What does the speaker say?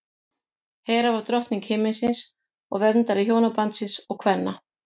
hera var drottning himinsins og verndari hjónabandsins og kvenna